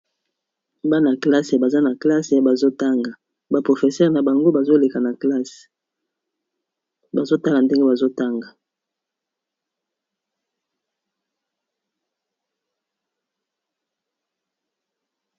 Bana classe baza na classe bazo tanga, ba professeurs na bango bazo leka na classe bazo tala ndenge bazo tanga.